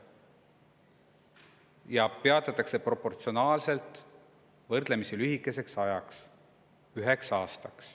Ja see peatatakse proportsionaalsuse võrdlemisi lühikeseks ajaks: üheks aastaks.